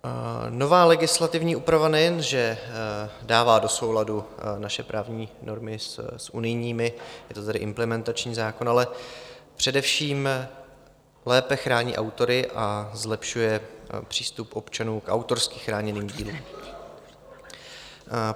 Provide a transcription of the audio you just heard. Nová legislativní úprava nejen že dává do souladu naše právní normy s unijními, je to tedy implementační zákon, ale především lépe chrání autory a zlepšuje přístup občanů k autorsky chráněným dílům.